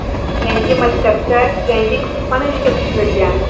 Yangi maktabda yangi kutubxona ishga tushirilgan.